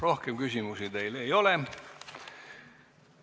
Rohkem küsimusi teile ei ole.